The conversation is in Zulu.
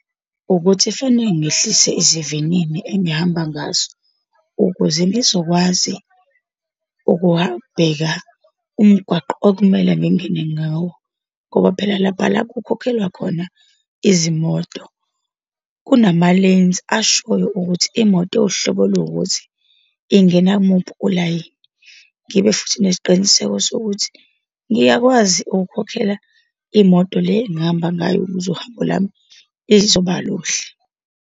Ukuthi kufanele ngehlise esivinini engihamba ngaso ukuze ngizokwazi ukuwabheka umgwaqo okumele ngingene ngawo, ngoba phela lapha la kukhokhelwa khona izimoto, kunama-lanes ashoyo ukuthi imoto ewuhlobo oluwukuthi ingena kumuphi ulayini. Ngibe futhi nesiqiniseko sokuthi ngiyakwazi ukukhokhela imoto le engihamba ngayo, ukuze uhambo lwami lizoba luhle.